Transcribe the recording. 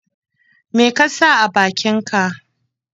Me ka sa a bakinka?